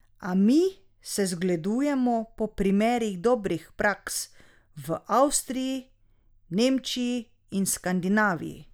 A mi se zgledujemo po primerih dobrih praks v Avstriji, Nemčiji in Skandinaviji.